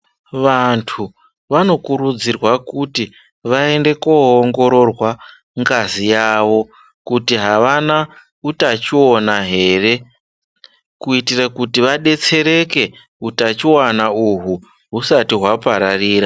Vantu vanokurudzirwa kuti vaende kunoongororwa ngazi yavo kuti havana utachiwona here kuitire kuti vabetsereke hutachiwona uhu husati hwapararira.